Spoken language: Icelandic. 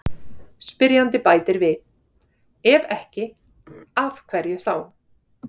Spyrjandi bætir við: Ef ekki, af hverju þá?